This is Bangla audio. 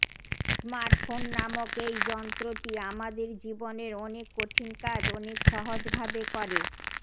স্মার্টফোন নামক এই যন্ত্রটি আমাদের জীবনের অনেক কঠিন কাজ অনেক সহজভাবে কর